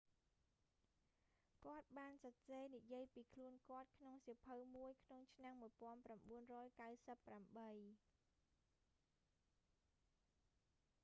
គាត់បានសរសេរនិយាយពីខ្លួនគាត់ក្នុងសៀវភៅមួយក្នុងឆ្នាំ1998